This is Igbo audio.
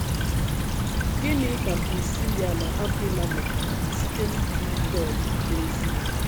Gịnị ka Prisíla na Akwịla mụtara site n’ikiri Pọl n’ọ̀zi ya?